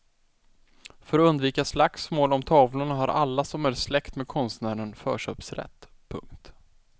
För att undvika slagsmål om tavlorna har alla som är släkt ned konstnären förköpsrätt. punkt